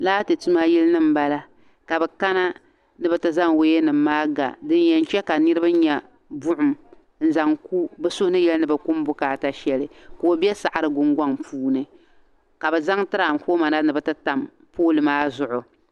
Laati tuma yilinim m bala ka bɛ kana ni bɛ ti zaŋ wayanim maa ga din yɛn che ka Niribi nya buɣim n zaŋ bɛ suhu ni yɛli ni bɛ ku bukaata shɛli ka o be saɣiri gungɔŋ puuni ka bɛ zaŋ tiraanfooma na ni bɛ ti tam pooli maa zuɣu.